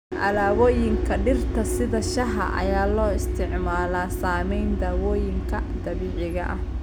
Alaabooyinka dhirta sida shaaha ayaa loo isticmaalaa samaynta dawooyinka dabiiciga ah.